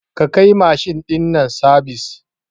Ka kai mashin ɗin nan sabis